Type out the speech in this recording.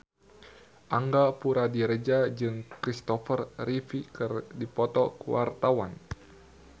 Angga Puradiredja jeung Kristopher Reeve keur dipoto ku wartawan